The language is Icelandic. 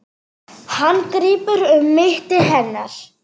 Hann grípur um mitti hennar.